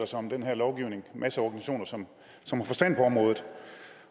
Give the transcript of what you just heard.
sig om den her lovgivning masser af organisationer som som har forstand på området